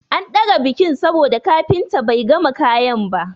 An ɗaga bikin saboda kafinta bai gama kayan ba.